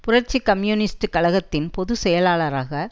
புரட்சி கம்யூனிஸ்ட் கழகத்தின் பொது செயலாளராக